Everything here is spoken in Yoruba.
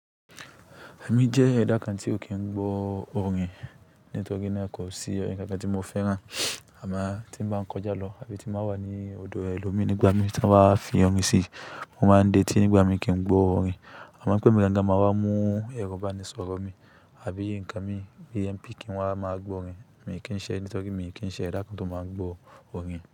Èmi jẹ́ ẹda kan tí ó kì n gbọ́ òrìn nítorí naa kò sí ọ̀rin kankan tí mo fẹ́ràn. Àmo tí ń bá ń kọjá lọ, àbí tí n bà wà ní odò ẹlòmí nígbà mí tí won ba wà á fi òrìn sí, o máa ń detí nígbà mí kí n gbọ́ òrìn. Àmo pé emi gan-an gan-an màá wá mú ẹro ibánisọ̀rọ̀ mí, àbí nǹkan mi, AMP kì n wá máa gbọ́ òrìn. Mi n kì í ṣẹ nítorí pé mi n kì í ṣẹ ẹda kan tó máa ń gbọ́ òrìn.